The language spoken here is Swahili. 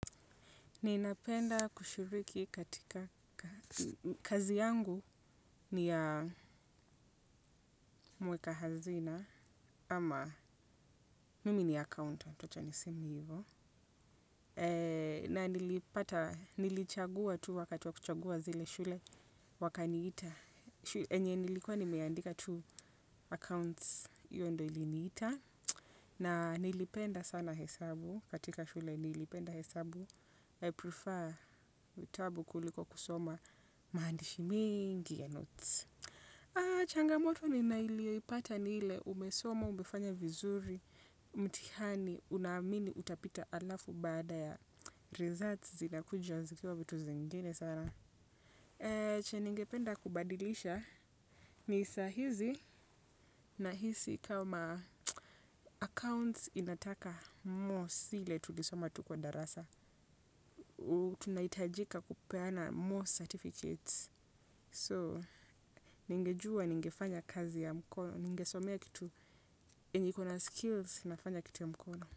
Ninapenda kushiriki katika kazi yangu. Ni ya mweka hazina ama mimi ni accountant wacha niseme hivyo, na nilipata, nilichagua tu wakati wa kuchagua zile shule, wakaniita yenye nilikuwa nimeandika accounts, hiyo ndio iliniita. Na nilipenda sana hesabu katika shule nilipenda hesabu. I prefer vitabu kuliko kusoma maandishi mingi ya notes. Changamoto niliyoipata ni ile umesoma umefanya vizuri mtihani unaamini utapita halafu baada ya results zinakuja zikiwa vitu zingine sana. Chenye ningependa kubadilisha ni sahizi nahisi kama accounts inataka mos ile tulisoma tukiwa darasa. Tunahitajika kupeana more certificates. So, ningejua ningefanya kazi ya mkono, ningesomea kitu yenye iko na skills, nafanya kitu ya mkono.